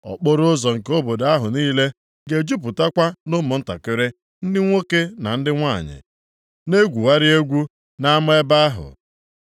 Okporoụzọ nke obodo ahụ niile ga-ejupụtakwa nʼụmụntakịrị ndị nwoke na ndị nwanyị na-egwugharị egwu na ama ebe ahụ.”